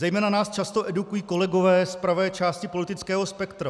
Zejména nás často edukují kolegové z pravé části politického spektra.